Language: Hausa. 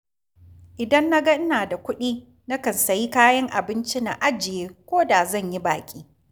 Idan na ga ina da kuɗi, nakan sayi kayan abinci, na ajiye ko da zan yi baƙi